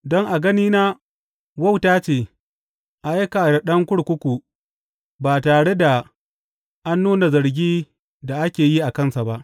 Don a ganina wauta ce a aika da ɗan kurkuku ba tare da an nuna zargin da ake yi a kansa ba.